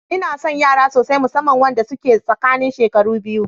Inason yara sosai, musamman wanda suke tsakanin shekaru biyu.